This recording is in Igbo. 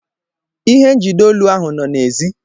Ihe njide olu ahụ nọ n'èzí.